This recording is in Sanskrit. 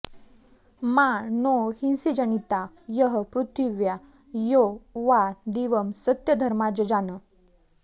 मा नो हिंसीज्जनिता यः पृथिव्या यो वा दिवं सत्यधर्मा जजान